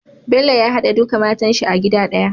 Bello ya hade duka matan shi a gida daya